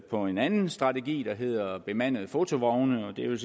på en anden strategi der hedder bemandede fotovogne og det er